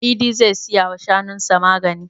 Idi zai siya wa shanun sa magani.